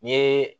N ye